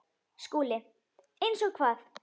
SKÚLI: Eins og hvað?